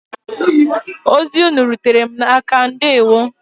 Ozi ụnụ rutere m aka ndewo.